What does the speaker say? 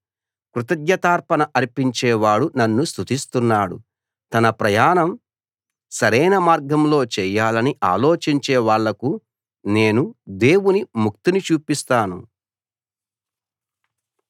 కృతజ్ఞతార్పణ అర్పించే వాడు నన్ను స్తుతిస్తున్నాడు తన ప్రయాణం సరైన మార్గంలో చేయాలని ఆలోచించే వాళ్లకు నేను దేవుని ముక్తిని చూపిస్తాను